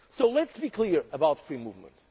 Let us be clear about free movement.